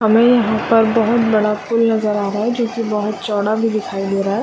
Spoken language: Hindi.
हमें यहाँ पर बहोत बड़ा पुल नजर आ रहा है जोकि बहुत चौड़ा भी दिखाई दे रहा हैं |